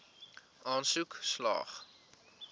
aansoek slaag